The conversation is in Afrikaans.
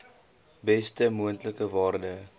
beste moontlike waarde